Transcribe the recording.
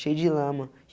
Cheio de lama.